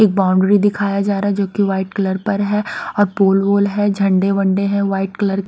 एक बाउंड्री दिखाया जा रहा है जोकि वाइट कलर पर है और पोल वोल है झण्डे वण्डे है वाइट कलर --